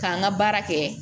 K'an ka baara kɛ